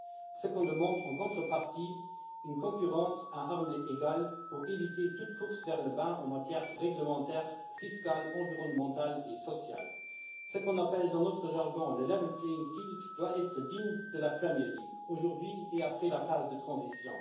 Ce qu'on demande en contrepartie, c'est une concurrence à armes égales, pour éviter toute course vers le bas en matière réglementaire, fiscale, environnementale et sociale. Ce qu'on appelle dans notre jargon le level playing field doit être digne de la Premier League aujourd'hui et après la phase de transition.